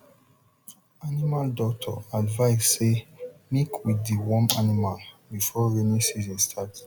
animal doctor advise say make we deworm animal before rainy season starts